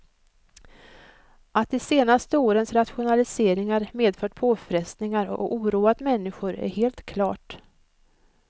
Att de senaste årens rationaliseringar medfört påfrestningar och oroat människor är helt klart.